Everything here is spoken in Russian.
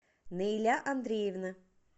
наиля андреевна